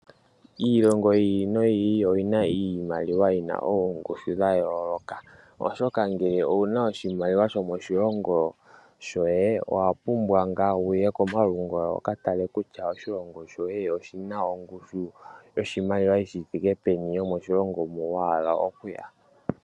Iilongo yi ili noyi ili oyina iimaliwa yina oongushu dha yooloka. Oshoka ngele owuna oshimaliwa sho moshilongo shoye owapumbwa wuye komalungula wu katale kutya ongushu yoshimaliwa yithike peni yomoshilongo mu wahala okuya.